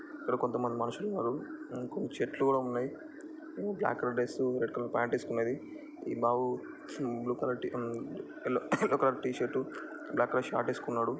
ఇక్కడ కొంతమంది మనుషులున్నరుఇంకా చెట్లు కూడా ఉన్నయ్ black colour dress red colour pant ఏసుకున్నదిఈ బాబు blue colour T yellow yellow colour T-shirt black colour short ఏసుకున్నడు.